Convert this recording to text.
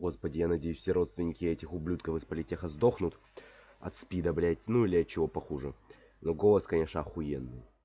господи я надеюсь все родственники этих ублюдков из политеха сдохнут от спида блять ну или чего похуже но голос конечно охуенный